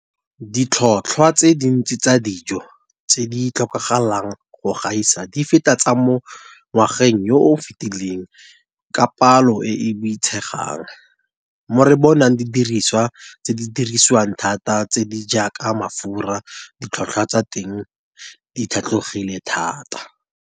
Ditlhotlhwa tse dintsi tsa dijo tse di tlhokagalang go gaisa di feta tsa mo ngwageng yo o fetileng ka palo e e boitshegang, mo re bonang didirisiwa tse di dirisiwang thata tse di jaaka mafura ditlhotlhwa tsa teng di tlhatlogileng thata.